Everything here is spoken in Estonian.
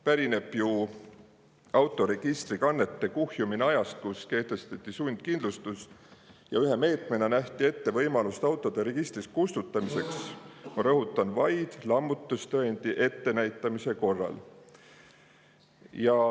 Pärineb ju autoregistrikannete kuhjumine ajast, kui kehtestati sundkindlustus ja ühe meetmena nähti ette võimalus autode registrist kustutamiseks – ma rõhutan – vaid lammutustõendi ettenäitamise korral.